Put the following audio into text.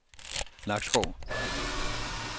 Nakskov